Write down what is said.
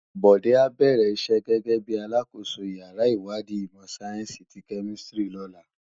Bode á bèrè isè gègè bi àlákósó iyàrá iwádí imò sáyènsí ti kèmìsítrí lòlá